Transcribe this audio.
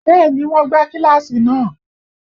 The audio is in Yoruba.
Bẹ́ẹ̀ni wọn gbá kíláàsì náà